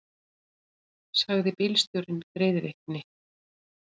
sagði bílstjórinn greiðvikni.